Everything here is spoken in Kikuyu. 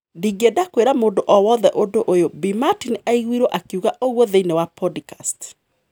Ndingienda kũira mũndũ o wothe ũndũ ũyũ," Bi Martin aiguirwo akiuga ũgwo thiinie wa podcast